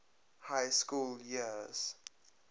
high school years